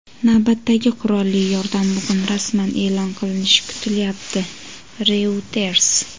Navbatdagi qurolli yordam bugun rasman e’lon qilinishi kutilyapti – "Reuters".